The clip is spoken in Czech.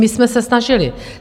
My jsme se snažili.